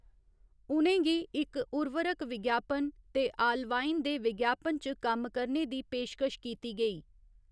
उ'नें गी इक उवर्रक विज्ञापन ते आलवाइन दे विज्ञापन च कम्म करने दी पेशकश कीती गेई।